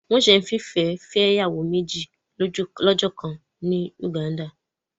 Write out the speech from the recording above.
Wọn ń se fifẹ ìyàwó méjì lọ́jọkan ni Uganda.